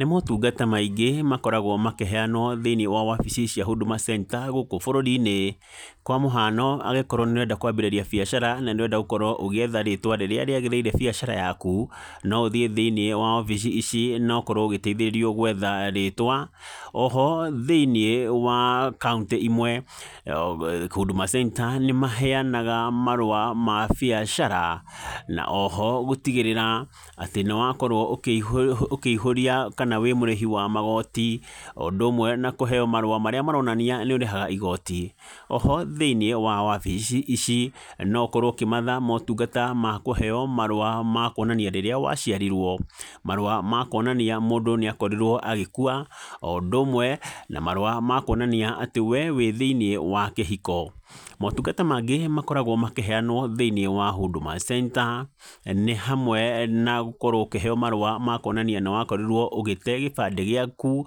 Nĩ motungata maingĩ makoragwo makĩheanwo thĩiniĩ wa wabici cia Huduma Centre gũkũ bũrũri-inĩ, kwa mũhano angĩkorwo nĩ ũrenda kwambĩrĩria biacara na nĩ ũrenda gũkorwo ũgĩetha rĩtwa rĩrĩa rĩagĩrĩire biacara yaku, no ũthiĩ thĩiniĩ wa wabici ici na ũkorwo ũgĩteithĩrĩrio gwetha rĩtwa , oho thĩiniĩ wa kaunti ĩmwe Huduma Centre nĩ maheanaga marua ma biacara na oho gũtigĩrĩra atĩ nĩ wakorwo ũkĩihũria kana wĩ mũrĩhi wa magoti , o ũndũ ũmwe na kũheo marua marĩa maronania nĩ ũrĩhaga igoti, oho thĩiniĩ wa wabici ici , no ũkorwo ũkĩmatha motungata ma kũheo marua rĩrĩa waciarirwo, marua makuonania mũndũ nĩ akorirwo agĩkua o ũndũ ũmwe na marua makwonania atĩ we wĩ thĩiniĩ wa kĩhiko, motungata mangĩ makoragwo makĩheanwo thĩiniĩ wa Huduma Centre nĩ hamwe na gũkorwo ũkĩheo marua ma kwonania nĩ wakorirwo ũgĩte gĩbandĩ gĩaku ,